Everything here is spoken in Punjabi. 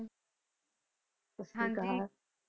ਹਾਂਜੀ ਸਤਿ ਸ਼੍ਰੀ ਅਕਾਲ।